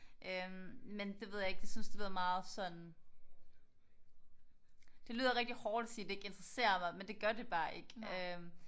Øh men det ved jeg ikke. Jeg synes det lyder meget sådan det lyder rigtig hårdt at sige at det ikke interesserer mig men det gør det bare ikke øh